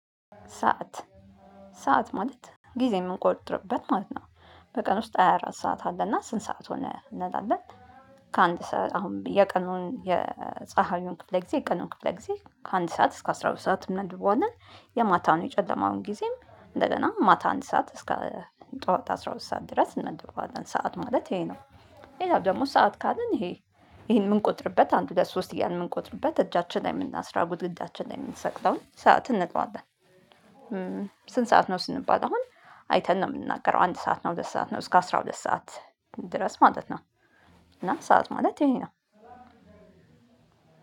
ሰዓት ሰዓት ማለት ጊዜ የምንቆጥርበት ማለት ነው በቀን ውስጥ ሃያ አራት ሰዓት አለና ስንት ሰዓት ሆነ እንላለን። ከአንድ ሰዓት አሁን የቀኑን የፀሀዩን ክፍለ ጊዜ የቀኑን ክፍለ ጊዜ ከአንድ ሰዓት እስከ አስራ ሁለት ሰዓት እንመድበዋለን የማታውን የጨለማውን ጊዜ እንደገና ማታ አንድ ሰዓት እስከ ጠዋት አስራ ሁለት ሰዓት ድረስ እንመድበዋለን ሰዓት ማለት ይሄ ነው። ሌላው ደግሞ ሰዓት ካልን ይሄ የምንቆጥርበት አንድ ሁለት ሶስት እያልን የምንቆጥርበት እጃችን ላይ የምናስረው ግድግዳችን ላይ የምንሰቅለው ሰዓት እንለዋለን። ስንት ሰዓት ነው ስንባል አሁን? አይተን ነው የምንናገረው አንድ ሰዓት ነው ሁለት ሰዓት ነው እስከ አስራ ሁለት ሰዓት ድረስ ማለት ነው። እና ሰዓት ማለት ይሄ ነው።